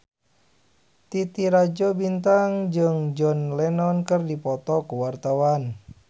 Titi Rajo Bintang jeung John Lennon keur dipoto ku wartawan